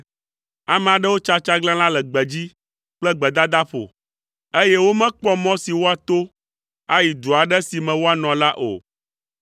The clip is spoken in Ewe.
Ame aɖewo tsa tsaglãla le gbedzi kple gbedadaƒo, eye womekpɔ mɔ si woato ayi du aɖe si me woanɔ la o.